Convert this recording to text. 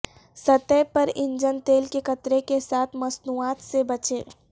سطح پر انجن تیل کے قطرے کے ساتھ مصنوعات سے بچیں